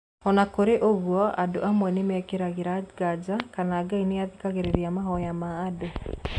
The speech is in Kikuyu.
O na kũrĩ ũguo, andũ amwe nĩ mekĩragĩra nganja kana Ngai nĩ athikagĩrĩria mahoya ma andũ.